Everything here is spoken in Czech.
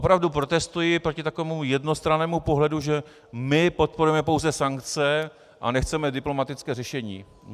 Opravdu protestuji proti takovému jednostrannému pohledu, že my podporujeme pouze sankce a nechceme diplomatické řešení.